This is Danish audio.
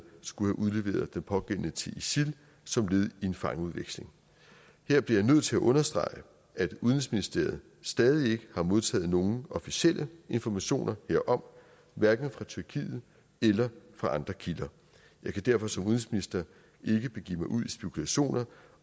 skulle have udleveret den pågældende til isil som led i en fangeudveksling her bliver jeg nødt til at understrege at udenrigsministeriet stadig ikke har modtaget nogen officielle informationer herom hverken fra tyrkiet eller fra andre kilder jeg kan derfor som udenrigsminister ikke begive mig ud i spekulationer